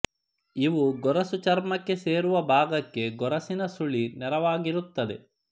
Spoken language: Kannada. ಇವು ಗೊರಸು ಚರ್ಮಕ್ಕೆ ಸೇರುವ ಭಾಗಕ್ಕೆ ಗೊರಸಿನ ಸುಳಿ ನೇರವಾಗಿರುತ್ತದೆ